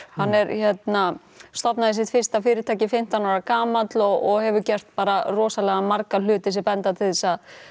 hann er hérna stofnaði sitt fyrsta fyrirtæki fimmtán ára gamall og hefur gert bara rosalega marga hluti sem benda til þess að